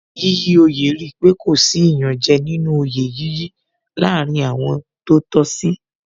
Yíyí oyè rí pé kò sí iyanje nínú oyè yíyí láàárín àwọn tó tọ́ sí